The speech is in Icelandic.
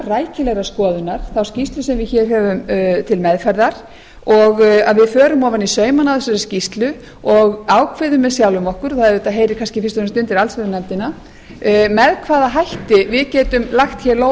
rækilegrar skoðunar þá skýrslu sem við höfum til meðferðar og að við förum ofan í saumana á þessari skýrslu og ákveðum með sjálfum okkur og það heyrir kannski fyrst og fremst undir allsherjarnefndina með hvaða hætti við getum lagt í